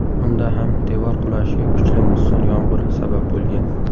Unda ham devor qulashiga kuchli musson yomg‘iri sabab bo‘lgan.